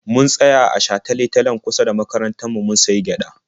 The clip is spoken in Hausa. Mun tsaya a shatale-talen kusa da makarantar mu mun sayi gyaɗa.